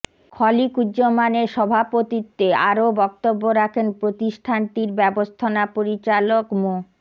খলীকুজ্জমানের সভাপতিত্বে আরও বক্তব্য রাখেন প্রতিষ্ঠানটির ব্যবস্থাপনা পরিচালক মো